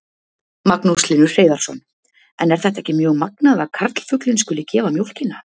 Magnús Hlynur Hreiðarsson: En er þetta ekki mjög magnað að karlfuglinn skuli gefa mjólkina?